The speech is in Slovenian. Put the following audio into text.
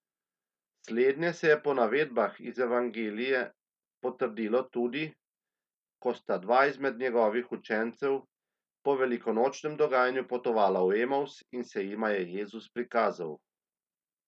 Slednje se je po navedbah iz evangelije potrdilo tudi, ko sta dva izmed njegovih učencev po velikonočnem dogajanju potovala v Emavs in se jima je Jezus prikazal.